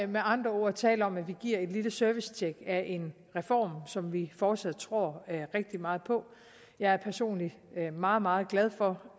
med andre ord tale om at vi giver et lille servicetjek af en reform som vi fortsat tror rigtig meget på jeg er personligt meget meget glad for